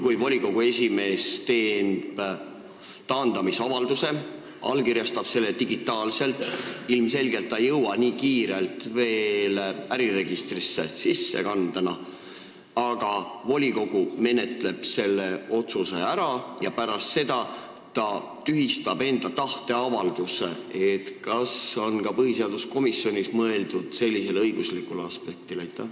Kui volikogu esimees teeb taandamisavalduse, allkirjastab selle digitaalselt, ilmselgelt ei jõuta nii kiirelt äriregistris sissekannet teha, aga volikogu menetleb selle otsuse ära ja pärast seda esimees tühistab enda tahteavalduse – kas põhiseaduskomisjonis on mõeldud ka sellisele õiguslikule aspektile?